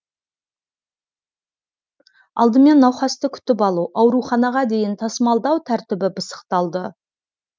алдымен науқасты күтіп алу ауруханаға дейін тасымалдау тәртібі пысықталды